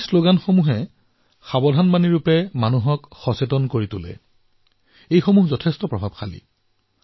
এই শ্লগান পথত সাৱধানতা পালন কৰিবলৈ জনসাধাৰণক সজাগতা প্ৰদানৰ বাবে অতিশয় প্ৰভাৱী বিবেচিত হৈছে